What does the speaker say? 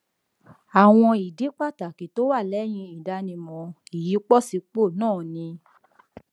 àwọn ìdí pàtàkì tó wà lẹyìn ìdánimọ ìyípòsípò náà ni